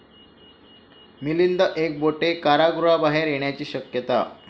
मिलिंद एकबोटे कारागृहाबाहेर येण्याची शक्यता